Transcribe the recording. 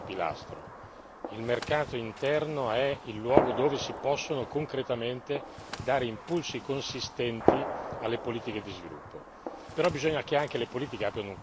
Per questo motivo è molto importante il terzo pilastro il mercato interno è il luogo dove si possono concretamente dare impulsi consistenti alle politiche di sviluppo.